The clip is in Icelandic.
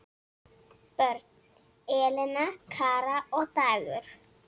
Börn: Elena, Kara og Dagur.